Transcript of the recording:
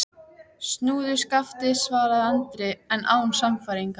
Hann komst lífsveg sinn farsællega og endaði starfsdaginn í Keflavík.